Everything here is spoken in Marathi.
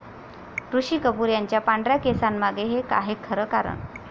ऋषी कपूर यांच्या पांढऱ्या केसांंमागे 'हे' आहे खरं कारण